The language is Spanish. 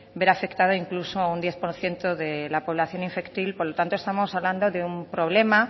ver afectado incluso un diez por ciento de la población infantil por lo tanto estamos hablando de un problema